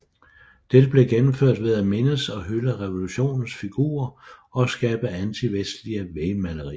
Dette blev gennemført ved at mindes og hylde revulotionens figurer og skabe antivestlige vægmalerier